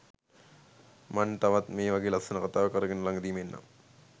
මන් තවත් මේවගෙ ලස්සන කතාවක් අරගෙන ලගදිම එන්නම්